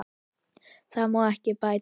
Þar má ekki bæta við.